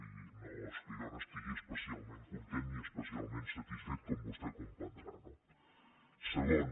i no és que jo n’estigui especialment content ni especialment satisfet com vostè comprendrà no segon